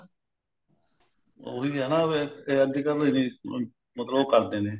ਉਹੀ ਹੈ ਨਾ ਵੀ ਅੱਜਕਲ ਵੀ ਮਤਲਬ ਉਹ ਕਰਦੇ ਨੇ